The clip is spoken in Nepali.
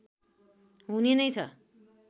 हुने नै छ